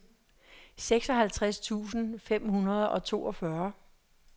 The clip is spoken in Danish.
seksoghalvtreds tusind fem hundrede og toogfyrre